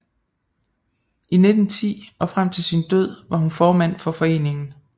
I 1910 og frem til sin død var hun formand for foreningen